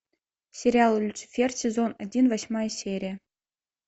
сериал люцифер сезон один восьмая серия